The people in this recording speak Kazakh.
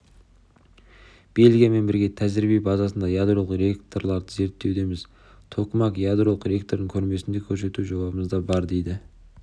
бельгиямен бірге тәжірибе базасында ядролық реакторларды зерттеудеміз токамак ядролық реакторын көрмесінде көрсету жобамызда бар дейді